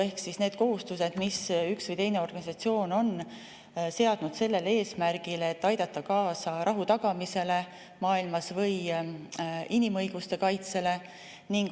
Ehk need on need kohustused, mis üks või teine organisatsioon on seadnud sellel eesmärgil, et aidata kaasa rahu tagamisele maailmas või inimõiguste kaitsele.